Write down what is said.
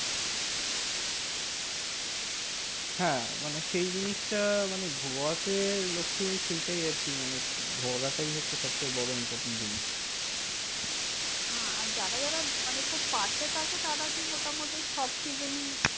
হ্যাঁ মানে সেই জিনিসটা মানে গোয়াতে লোকে সেইটাই আরকি মানে ঘোরাটাই হচ্ছে সবচেয়ে বড় important জিনিস। হ্যাঁ আর যারা যারা মানে খুব পাশে থাকে তারা তো মোটামুটি সব season ই